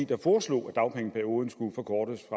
der foreslog at dagpengeperioden skulle forkortes